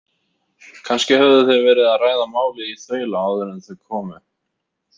Kannski höfðu þeir verið að ræða málið í þaula áður en þau komu.